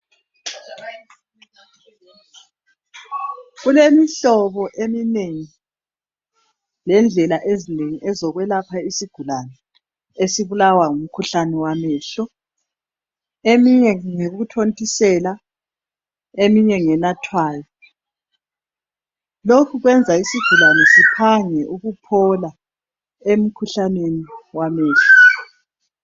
Kulemihlobo eminengi lendlela ezinengi zokwelapha isigulane esibulawa ngumkhuhlane wamehlo. Eminye ngeyokuthontisela, eminye ngenathwayo. Lokhu kwenza isigulane siphange ukuphola emkhuhlaneni wamehlo.